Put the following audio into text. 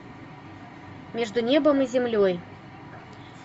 между небом и землей